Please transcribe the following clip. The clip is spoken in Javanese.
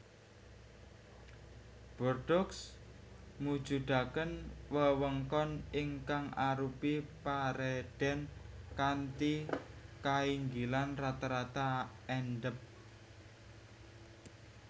Bordeaux mujudaken wewengkon ingkang arupi paredèn kanthi kainggilan rata rata endhèp